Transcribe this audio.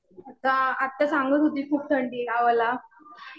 आता आत्या सांगत होती खूप थंडी आहे गावाला.